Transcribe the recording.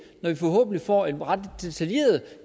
når vi forhåbentlig får et ret detaljeret